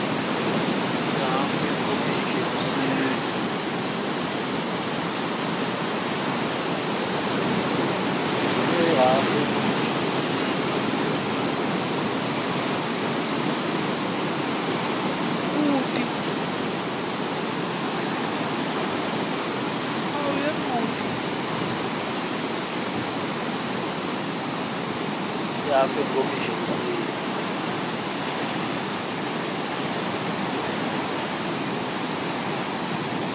ihhafu yenkomishi ekuseni